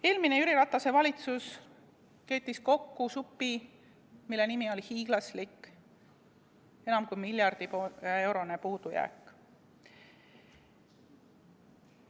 Eelmine Jüri Ratase valitsus keetis kokku supi, mille nimi on hiiglaslik, enam kui miljardi eurone puudujääk.